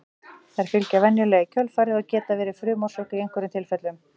þær fylgja venjulega í kjölfarið en geta verið frumorsök í einhverjum tilfellum